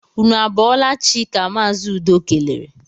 Ụnụ a bọọla chi! ka Mazi Udo kelere